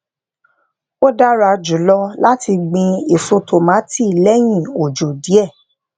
ó dára jù lọ láti gbin èso tòmátì léyìn òjò díè